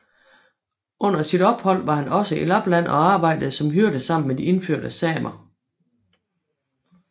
Under sit ophold var han også i Lapland og arbejde som hyrde sammen med de indfødte samer